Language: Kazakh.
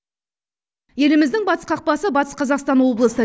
еліміздің батыс қақпасы батыс қазақстан облысы